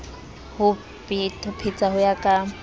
ho petha ho ya ka